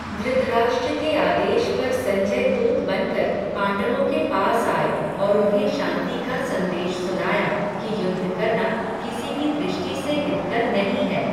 धृतराष्ट्र के आदेश पर संजय दूत बनकर, पांडवों के पास आए, और उन्हें शांति का संदेश सुनाया, कि युद्ध करना, किसी भी दृष्टि से हितकर नहीं है